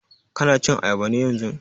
Ka na cin ayaba ne yanzun?